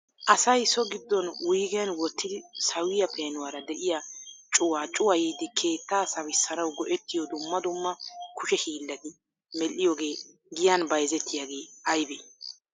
Asay soo giddon wuyigen wottidi sawiyya peenuwara de'iyaa cuwaa cuwayyidi keetta sawissanaw go''ettiyo dumma dumma kushe hiilati medhdhiyooge giya bayzzetiyaaga aybbe?